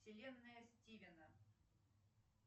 вселенная стивена